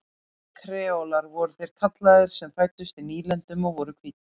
Kreólar voru þeir kallaðir sem fæddust í nýlendunum og voru hvítir.